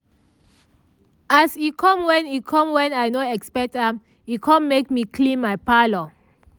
as e com wen e com wen i no expect am e com make me clean my parlour